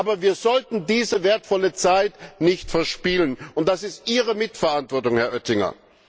Aber wir sollten diese wertvolle Zeit nicht verspielen, und das ist Ihre Mitverantwortung, Herr Oettinger!